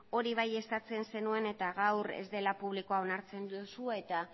hori bai eskatzen zenuen eta gaur ez dela publikoa onartzen duzu eta